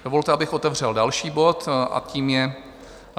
Dovolte, abych otevřel další bod, a tím je